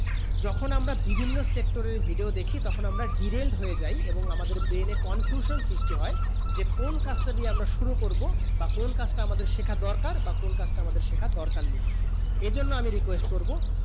যখন আমরা বিভিন্ন sector এ video দেখি তখন আমরা derailed হয়ে যায় এবং আমাদের brain এ confusion সিস্ট হয়ে যে কোন কাজ তা দিয়ে আমরা শুরু করবো বা কোন কাজ আমার শেখার দরকার বা কোন কাজ টা আমার শেখার দরকার নেই